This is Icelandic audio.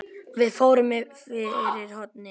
Við fórum fyrir hornið.